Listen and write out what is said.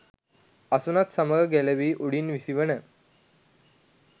අසුනත් සමග ගැලවී උඩින් විසි වන